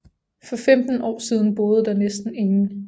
For femten år siden boede der næsten ingen